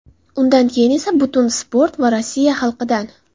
Undan keyin esa butun sport va Rossiya xalqidan.